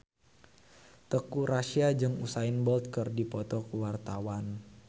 Teuku Rassya jeung Usain Bolt keur dipoto ku wartawan